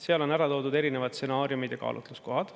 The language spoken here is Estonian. Seal on ära toodud erinevad stsenaariumid ja kaalutluskohad.